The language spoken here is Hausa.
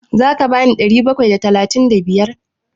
Za ka bani ɗari bakwai da talatin da biyar?